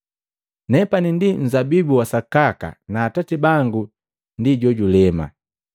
“Nepani nunzabibu wa sakaka na Atati bangu ndi jojulema.